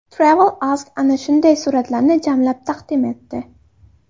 TravelAsk ana shunday suratlarni jamlab taqdim etdi .